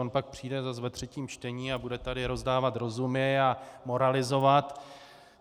On pak přijde zase ve třetím čtení a bude tady rozdávat rozumy a moralizovat.